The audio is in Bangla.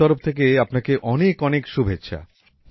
আমার তরফ থেকে আপনাকে অনেক অনেক শুভেচ্ছা